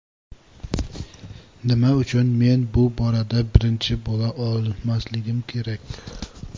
Nima uchun men bu borada birinchi bo‘la olmasligim kerak?